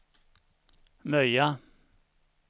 Möja